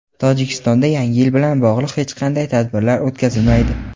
Tojikistonda Yangi yil bilan bog‘liq hech qanday tadbirlar o‘tkazilmaydi.